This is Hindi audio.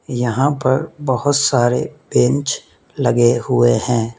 यहां पर बहोत सारे बेंच लगे हुए है।